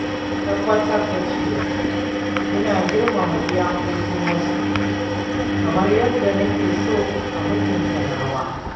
Zan tabbatar da cewa ina girmama iyakokin wasu kamar yadda nake son a mutunta nawa.